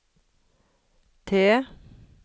T